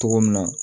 Cogo min na